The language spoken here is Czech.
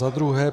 Za druhé.